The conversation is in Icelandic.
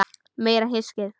Meira hyskið!